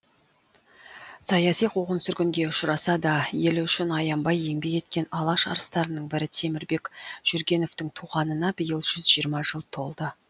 саяси қуғын сүргінге ұшыраса да елі үшін аянбай еңбек еткен алаш арыстарының бірі темірбек жүргеновтың туғанына биыл жүз жиырма жыл толды